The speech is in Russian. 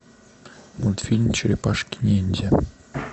мультфильм черепашки ниндзя